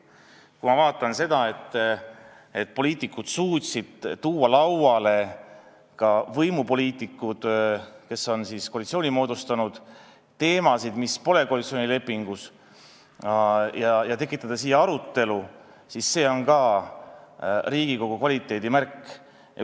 Kui ma vaatan seda, et poliitikud – ka võimupoliitikud, kes on koalitsiooni moodustanud – suutsid tuua lauale teemasid, mis pole koalitsioonilepingus, ja tekitada siin arutelu, siis see on ka Riigikogu kvaliteedimärk.